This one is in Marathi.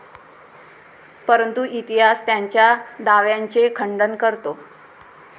परंतु इतिहास त्यांच्या दाव्यांचे खंडन करतो.